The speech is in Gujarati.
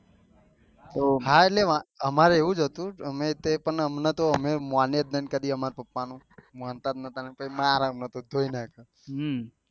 હા એટલે અમારે એવોજ હતું અમે તે પણ અમને તો અમે માણ્યે નહી પપ્પા નું માનતા જ નથી કઈ મારે અમને કહી નાખ્યે